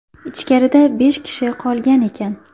Ichkarida besh kishi qolgan ekan.